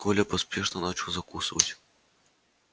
коля поспешно начал закусывать